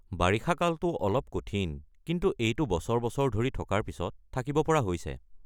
বাৰিষা কালটো অলপ কঠিন কিন্তু এইটো বছৰ বছৰ ধৰি থকাৰ পিছত থাকিব পৰা হৈছে।